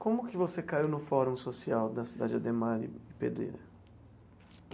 Como que você caiu no fórum social da Cidade Ademar e Pedreira?